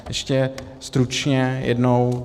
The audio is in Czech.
Ještě stručně jednou.